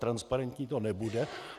Transparentní to nebude.